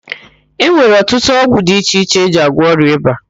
E nwere ọtụtụ ọgwụ di iche iche eji agwọ ọrịa ịba.